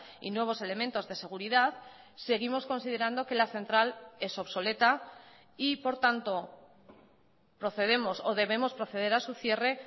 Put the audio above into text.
y nuevos elementos de seguridad seguimos considerando que la central es obsoleta y por tanto procedemos o debemos proceder a su cierre